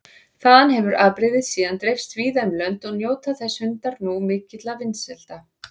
Þaðan hefur afbrigðið síðan dreifst víða um lönd og njóta þessir hundar nú mikilla vinsælda.